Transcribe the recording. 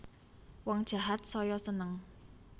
Wong jahat saya seneng